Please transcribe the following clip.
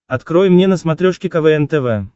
открой мне на смотрешке квн тв